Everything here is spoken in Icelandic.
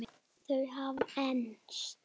Þau hafa enst.